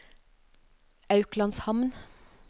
Auklandshamn